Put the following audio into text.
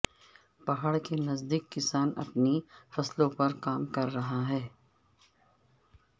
پہاڑ کے نزدیک کسان اپنی فصلوں پر کام کر رہا ہے